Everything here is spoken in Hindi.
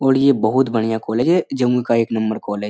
और ये बहुत बढ़िया कॉलेज है। जमुई का एक नंबर कॉलेज --